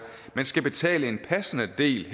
men skal betale en passende del